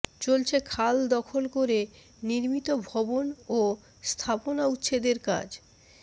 চলছে খাল দখল করে নির্মিত ভবন ও স্থাপনা উচ্ছেদের কাজ